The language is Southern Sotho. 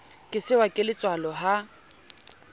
ke sehwa ke letswalo ha